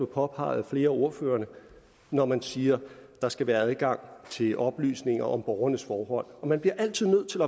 påpeget af flere af ordførerne når man siger at der skal være adgang til oplysninger om borgernes forhold man bliver altid nødt til